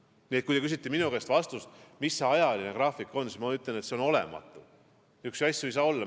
Nii et kui te küsite minu käest vastust, mis see ajagraafik on, siis ma ütlen, et seda ei ole, niisuguseid asju ei saa olla.